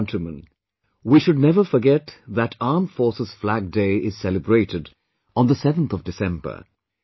My dear countrymen, we should never forget that Armed Forces Flag Day is celebrated on the 7thof December